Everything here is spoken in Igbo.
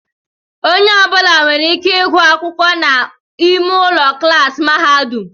Onye ọbula nwèrè ike ịgụ akwụkwọ n'ime ụlọ klaasi mahadum.